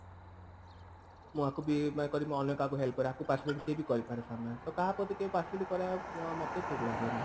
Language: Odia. ମୁଁ ଆକୁ ବି କାହିଁକି କରିବି ମୁଁ ଅନ୍ୟ କାହାକୁ help କରେ ଆକୁ partiality ସିଏ ବି କହି ପାରେ ସାମ୍ନାରେ ତ କାହା ପ୍ରତି କେବେ partiality କରିବା ମୋତେ ବି ଠିକ ଲଗେନି